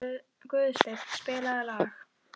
Guðstein, spilaðu lag.